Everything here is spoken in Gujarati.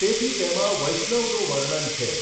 તેથી તેમાં વૈષ્ણવનું વર્ણન છે.